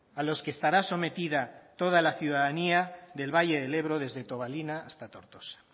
a los que estará sometida toda la ciudadanía del valle del ebro desde tobalina hasta tortosa